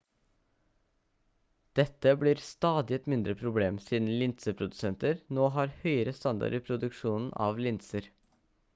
dette blir stadig et mindre problem siden linseprodusenter nå har høyere standard i produksjonen av linser